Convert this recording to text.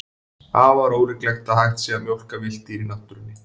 Afar ólíklegt að hægt sé að mjólka villt dýr í náttúrunni.